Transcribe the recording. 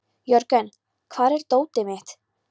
Jörgen, hvar er dótið mitt?